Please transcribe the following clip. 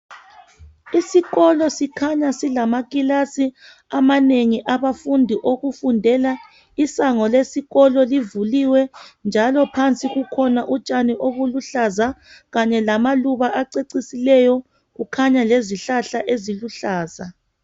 Isikolo sikhanya silamakilasi amanengi abafundi owokufundela. Isango lesikolo livuliwe njalo phansi kukhona utshani obuluhlaza Kanye lamaluba acecisileyo. Kukhanya lezihlahla eziluhlaza.